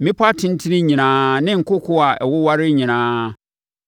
mmepɔ atentene nyinaa ne nkokoɔ a ɛwowareɛ nyinaa,